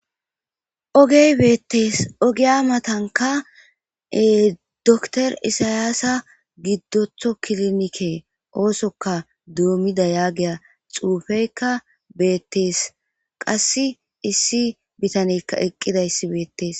ogey beettees ogiya matanka dr isayaasa giddotho kilnike oosoka duomida yaagiya xuufeykka beettees qass issi bitanekka eqqidayssi beettees